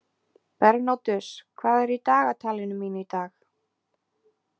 Bernódus, hvað er í dagatalinu mínu í dag?